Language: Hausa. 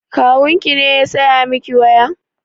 Kawun ki ne ya saya miki waya?